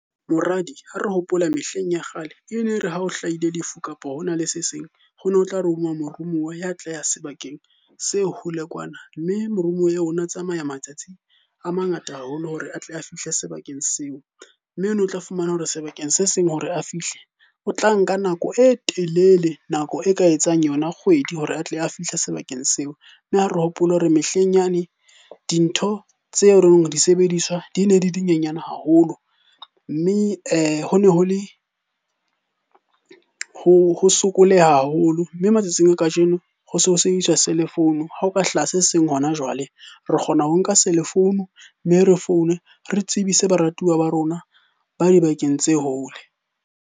Moradi, ha re hopola mehleng ya kgale e ne re ha o hlahile lefu kapo hona le se seng. Ho ne ho tla romuwa morumuwa ya tla ya sebakeng se hole kwana, mme morumuwa eo o no tsamaya matsatsi a mangata haholo hore a tle a fihle sebakeng seo. Mme ono tla fumana hore sebakeng se seng hore a fihle, o tla nka nako e telele. Nako e ka etsang yona kgwedi hore a tle a fihle sebakeng seo. Mme ha re hopole hore mehleng yane, dintho tse di sebediswa di ne di di nyenyane haholo. Mme ho ne ho le, ho sokoleha haholo, mme matsatsing a kajeno ho se ho sebediswa cellphone-u. Ha ho ka hlaha se seng hona jwale re kgona ho nka cellphone-u, mme re foune re tsebise baratuwa ba rona ba dibakeng tse hole.